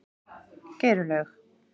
Geirlaug